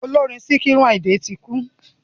Ọlọ́rin Síkírù Àyìndé ti kú.